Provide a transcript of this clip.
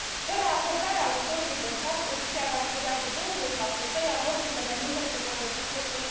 Fără acordarea ajutorului de stat producția va scădea cu 20, iar locurile de muncă se vor reduce cu